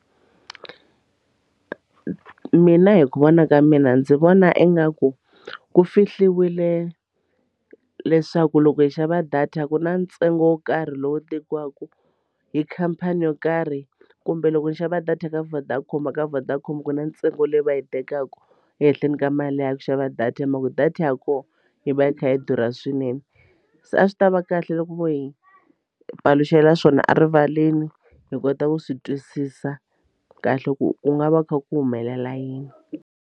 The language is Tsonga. Mina hi ku vona ka mina ndzi vona ingaku ku fihliwile leswaku loko hi xava data ku na ntsengo wo karhi lowu tekiwaka hi khampani yo karhi kumbe loko ni xava data eka Vodacom ka Vodacom ku na ntsengo leyi va yi tekaka ehenhleni ka mali liya ya ku xava data hi mhaka ku data ya kona yi va yi kha yi durha swinene se a swi tava kahle loko vo hi paluxela swona a rivaleni hi kota ku swi twisisa kahle ku ku nga va ku kha ku humelela yini.